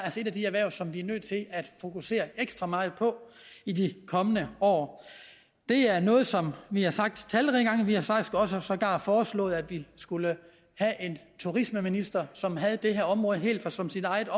et af de erhverv som vi er nødt til at fokusere ekstra meget på i de kommende år det er noget som vi har sagt talrige gange vi har faktisk også sågar foreslået at vi skulle have en turismeminister som havde det her område helt som sit eget